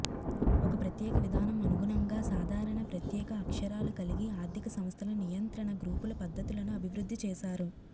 ఒక ప్రత్యేక విధానం అనుగుణంగా సాధారణ ప్రత్యేక అక్షరాలు కలిగి ఆర్థిక సంస్థల నియంత్రణ గ్రూపుల పద్ధతులను అభివృద్ధి చేశారు